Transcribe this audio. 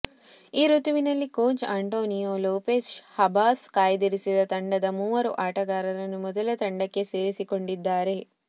ಈ ಋತುವಿನಲ್ಲಿ coach Antonio Lopez Habas ಕಾಯ್ದಿರಿಸಿದ ತಂಡದ ಮೂವರು ಆಟಗಾರರನ್ನು ಮೊದಲ ತಂಡಕ್ಕೆ ಸೇರಿಸಿಕೊಂಡಿದ್ದಾರೆ